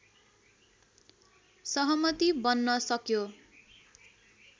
सहमति बन्न सक्यो